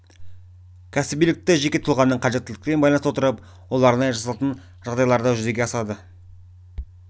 кәсібилікті жеке тұлғаның қажеттіліктерімен байланыстыра отырып ол арнайы жасалатын жағдайларда жүзеге асады